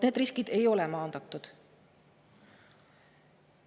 Need riskid ei ole maandatud.